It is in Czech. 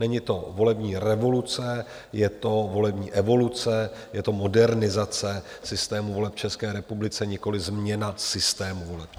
Není to volební revoluce, je to volební evoluce, je to modernizace systému voleb v České republice, nikoliv změna systému voleb.